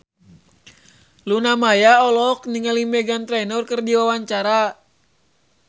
Luna Maya olohok ningali Meghan Trainor keur diwawancara